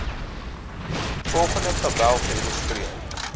volgende tabel geïllustreer